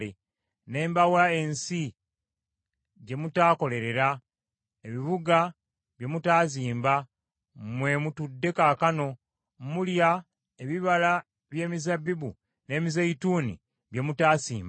Ne mbawa ensi gye mutaakolerera, ebibuga bye mutaazimba mwe mutudde kaakano, mulya ebibala by’emizabbibu n’emizeeyituuni bye mutaasimba.’